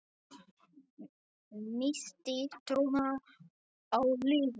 Missti trúna á lífið.